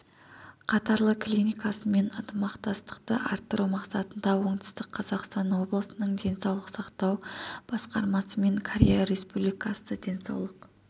қатарлы клиникасымен ынтымақтастықты арттыру мақсатында оңтүстік қазақстан облысының денсаулық сақтау басқармасы мен корея республикасы денсаулық